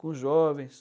Com jovens.